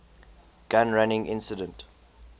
gun running incident